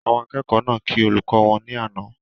Àwọn akẹ́kọ̀ọ́ náà kí olùkọ́ wọn ní àná